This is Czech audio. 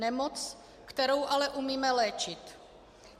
Nemoc, kterou ale umíme léčit.